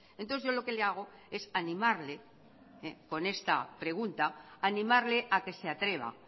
entonces yo lo que le hago es animarle con esta pregunta animarle a que se atreva